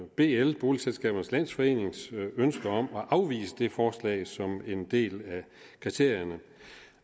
bl boligselskabernes landsforenings ønske om at afvise det forslag som en del af kriterierne